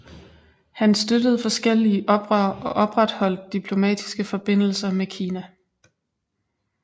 Han støttede forskellige oprør og opretholdt diplomatiske forbindelser med Kina